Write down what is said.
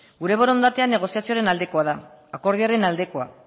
gure borondatea negoziatzearen aldekoa da akordioaren aldeko